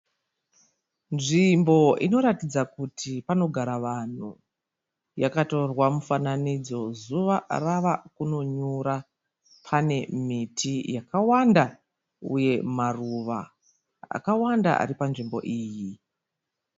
Nzvimbo inoratidza kuti panogara vanhu. Yakatorwa mufananidzo zuva rava kunonyura. Pane miti yakawanda uye maruva akawanda ari panzvimbo iyi.